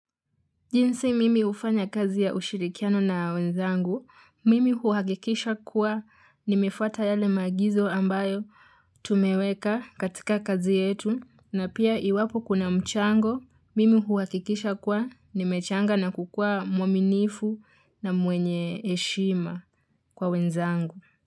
Jinsi mimi ufanya kazi ya ushirikiano na wenzangu, mimi huakikisha kuwa ni mefuata yale maagizo ambayo tumeweka katika kazi yetu na pia iwapo kuna mchango, mimi huakikisha kuwa ni mechanga na kukua mwaminifu na mwenye eshima kwa wenzangu.